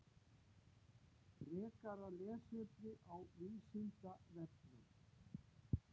Frekara lesefni á Vísindavefnum: